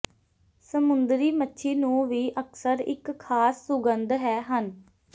ਸਮੁੰਦਰੀ ਮੱਛੀ ਨੂੰ ਵੀ ਅਕਸਰ ਇੱਕ ਖਾਸ ਸੁਗੰਧ ਹੈ ਹਨ